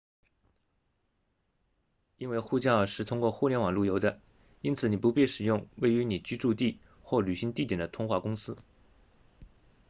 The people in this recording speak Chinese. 因为呼叫是通过互联网路由的因此你不必使用位于你居住地或旅行地点的通话公司